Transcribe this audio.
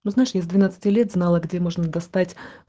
ну знаешь я с двенадцати лет знала где можно достать